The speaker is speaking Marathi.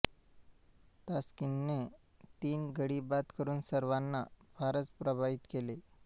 तास्किनने तीन गडी बाद करुन सर्वांना फारच प्रभावित केले